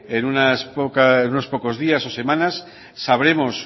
en unos pocos días o semanas sabremos